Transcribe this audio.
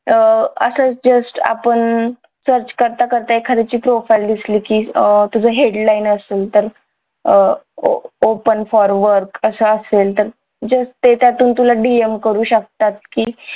अह असच just आपण search करता करता एखाद्याची profile दिसली की अं तुझं headline असेल तर अह अं open for work असं असेल तर just ते त्यातून तुला DM करू शकतात की